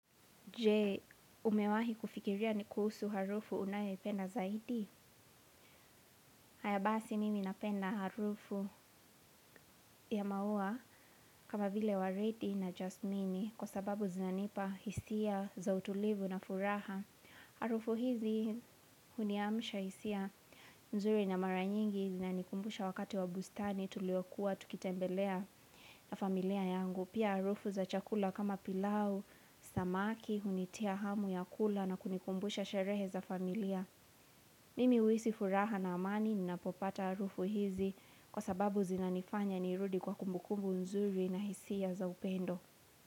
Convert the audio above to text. Je, umewahi kufikiria ni kuhusu harufu unayependa zaidi? Haya basi mimi napenda harufu ya maua kama vile wa Reddy na Jasmini kwa sababu zinanipa hisia za utulivu na furaha. Harufu hizi huniamisha hisia nzuri na mara nyingi zinanikumbusha wakati wa bustani tuliokuwa tukitembelea na familia yangu. Pia harufu za chakula kama pilau, samaki, hunitia hamu ya kula na kunikumbusha sherehe za familia Mimi huisi furaha na amani, ninapopata harufu hizi kwa sababu zinanifanya nirudi kwa kumbukumbu nzuri na hisia za upendo.